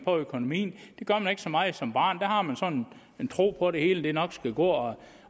på økonomien det gør man ikke så meget som barn der har man sådan en tro på at det hele nok skal gå